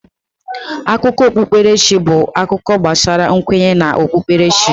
Akụkọ okpukpere chi bụ akụkọ gbasara nkwenye na okpukperechi.